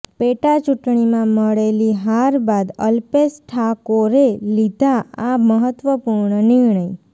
પેટાચૂંટણીમાં મળેલી હાર બાદ અલ્પેશ ઠાકોરે લીધો આ મહત્વપૂર્ણ નિર્ણય